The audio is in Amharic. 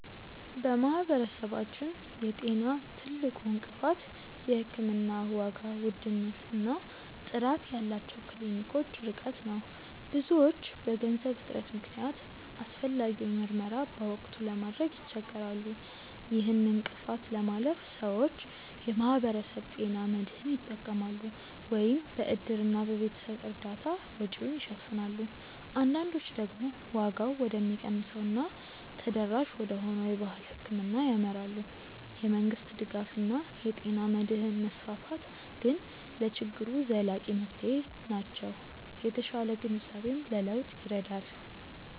በማህበረሰባችን የጤና ትልቁ እንቅፋት የሕክምና ዋጋ ውድነት እና ጥራት ያላቸው ክሊኒኮች ርቀት ነው። ብዙዎች በገንዘብ እጥረት ምክንያት አስፈላጊውን ምርመራ በወቅቱ ለማድረግ ይቸገራሉ። ይህን እንቅፋት ለማለፍ ሰዎች የማህበረሰብ ጤና መድህን ይጠቀማሉ፤ ወይም በእድርና በቤተሰብ እርዳታ ወጪውን ይሸፍናሉ። አንዳንዶች ደግሞ ዋጋው ወደሚቀንሰው እና ተደራሽ ወደሆነው የባህል ሕክምና ያመራሉ። የመንግስት ድጋፍ እና የጤና መድህን መስፋፋት ግን ለችግሩ ዘላቂ መፍትሄዎች ናቸው። የተሻለ ግንዛቤም ለለውጥ ይረዳል።